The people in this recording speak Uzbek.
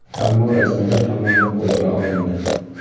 Ammo rasmiylar tomonidan qo‘lga olindi.